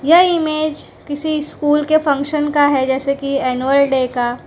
यह इमेज किसी स्कूल के फंक्शन का है जैसे की एनुअल डे का--